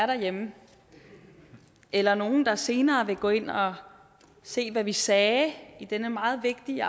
derhjemme eller nogle der senere vil gå ind og se hvad vi sagde i denne meget vigtige